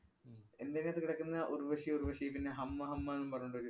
ഉം എന്‍റിയനാത്ത് കിടക്കുന്ന ഉര്‍വ്വശി ഉര്‍വശി പിന്നെ ഹമ്മ ഹമ്മ എന്നും പറഞ്ഞോണ്ടൊരു